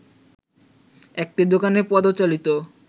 একটি দোকানে পদ-চালিত